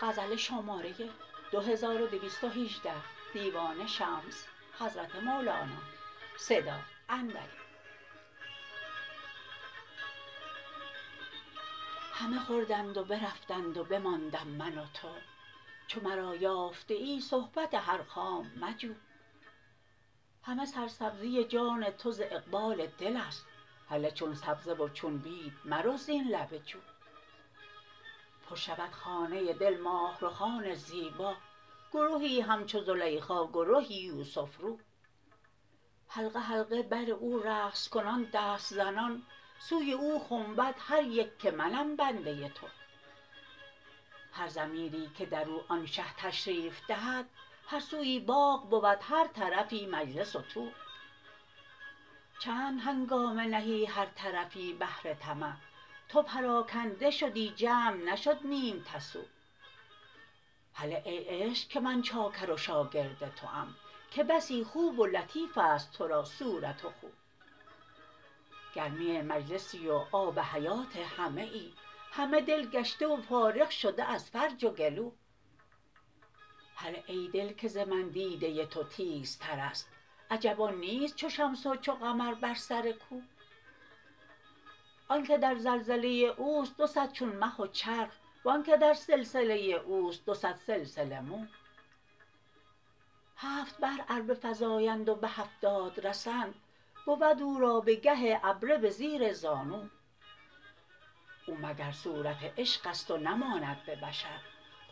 همه خوردند و برفتند و بماندم من و تو چو مرا یافته ای صحبت هر خام مجو همه سرسبزی جان تو ز اقبال دل ست هله چون سبزه و چون بید مرو زین لب جو پر شود خانه دل ماه رخان زیبا گرهی همچو زلیخا گرهی یوسف رو حلقه حلقه بر او رقص کنان دست زنان سوی او خنبد هر یک که منم بنده تو هر ضمیری که در او آن شه تشریف دهد هر سوی باغ بود هر طرفی مجلس و طو چند هنگامه نهی هر طرفی بهر طمع تو پراکنده شدی جمع نشد نیم تسو هله ای عشق که من چاکر و شاگرد توام که بسی خوب و لطیف ست تو را صورت و خو گرمی مجلسی و آب حیات همه ای همه دل گشته و فارغ شده از فرج و گلو هله ای دل که ز من دیده تو تیزترست عجب آن کیست چو شمس و چو قمر بر سر کو آنک در زلزله اوست دو صد چون مه و چرخ و آنک که در سلسله اوست دو صد سلسله مو هفت بحر ار بفزایند و به هفتاد رسند بود او را به گه عبره به زیر زانو او مگر صورت عشق ست و نماند به بشر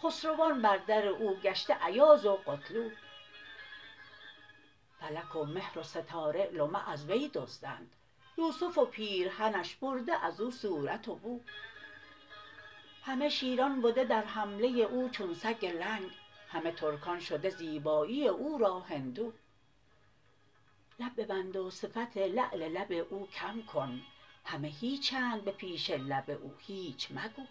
خسروان بر در او گشته ایاز و قتلو فلک و مهر و ستاره لمع از وی دزدند یوسف و پیرهنش برده از او صورت و بو همه شیران بده در حمله او چون سگ لنگ همه ترکان شده زیبایی او را هندو لب ببند و صفت لعل لب او کم کن همه هیچند به پیش لب او هیچ مگو